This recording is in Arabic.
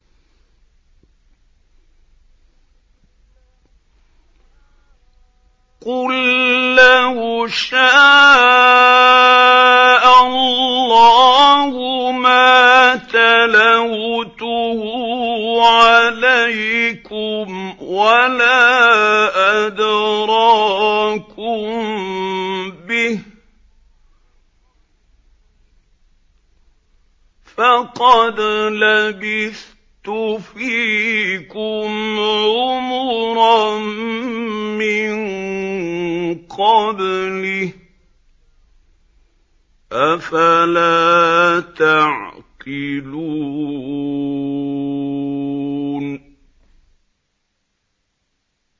قُل لَّوْ شَاءَ اللَّهُ مَا تَلَوْتُهُ عَلَيْكُمْ وَلَا أَدْرَاكُم بِهِ ۖ فَقَدْ لَبِثْتُ فِيكُمْ عُمُرًا مِّن قَبْلِهِ ۚ أَفَلَا تَعْقِلُونَ